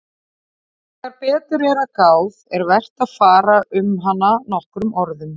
En þegar betur er að gáð er vert að fara um hana nokkrum orðum.